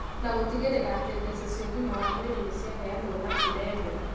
na gũtigĩrĩra atĩ mbeca cia ũgima wa mwĩrĩ nĩ ciaheanwo na njĩra ĩmwe.